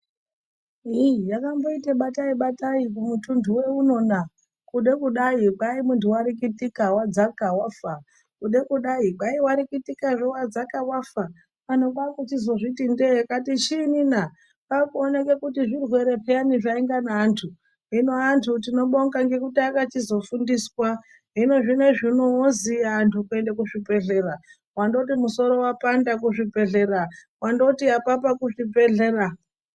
ii yakamboite bataibatai kumuntunhu weuno na kude kudai kwai munhu warikitika wadzaka wafa ,kude kudai kwai warikitazve wadzaka wafa anhu kwakuzozviti ndee akati chinyi na kwakuooneke kuti zvirwere peyani zvainga neantu hino antu tinobonga ngekuti akachizofundiswa hino zvinoizvi uno oziya anhu kuenda kuzvibhehlera wandoti musoro wapanda kuzvibhehlera ,wandoti apapa kuzvibhehlera.